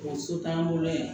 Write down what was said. So t'an bolo yan